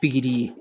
Pikiri